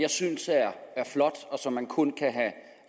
jeg synes er flot og som man kun kan have